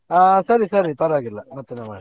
ಹಾ ಸರಿ ಸರಿ ಪರ್ವಾಗಿಲ್ಲ ಮತ್ತೇನೇ ಮಾಡ್ತೇ.